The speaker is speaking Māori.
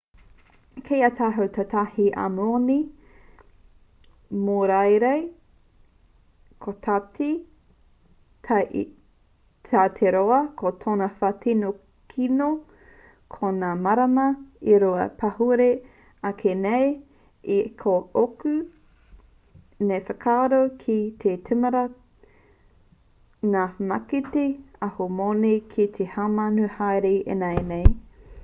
kei a tātou tētahi ahumoni mōreareai kotahi tau te roa ko tōna wā tino kino ko ngā marama e rua kua pahure ake nei ā ki ōku nei whakaaro kei te tīmata ngā mākete ahumoni ki te haumanu haere ināianei